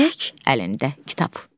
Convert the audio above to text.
Tək əlində kitab.